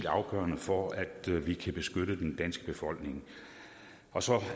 afgørende for at vi kan beskytte den danske befolkning og så